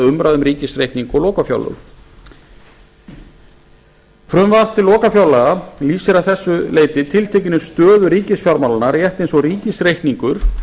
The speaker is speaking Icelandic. umræðum um ríkisreikning og lokafjárlög frumvarp til lokafjárlaga lýsir að þessu leyti tiltekinni stöðu ríkisfjármálanna rétt eins og ríkisreikningur